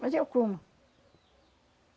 Mas eu como.